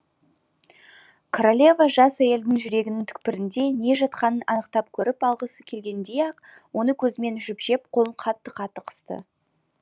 королева жас әйелдің жүрегінің түкпірінде не жатқанын анықтап көріп алғысы келгендей ақ оны көзімен ішіп жеп қолын қатты қатты қысты